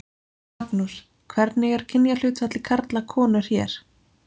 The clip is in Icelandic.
Magnús: Hvernig er kynjahlutfallið karlar konur hér?